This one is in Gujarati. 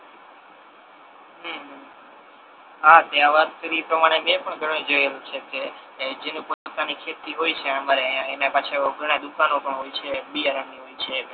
હમ હમ હા તે આ વાત કરી ઈ પ્રમાણે મે પણ ઘણુ જોયેલુ છે કે એ જેની પોતાની ખેતી હોય છે એ એને પાછુ ઘણી દુકાનો પણ હોય છે બિયારણ ની હોય છે